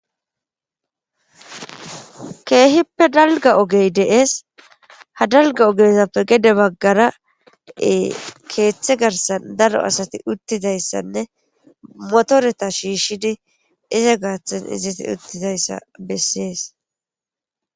Keehippe dalga ogey deees ha dalga ogezappe gede baggara keeththe garsan daro asati uttidayssanne motoreta shiishshidi iza gaaththan izati uttidayssa bessees.